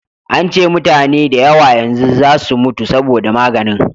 an ce mutane da yawa yanzu za su mutu saboda maganin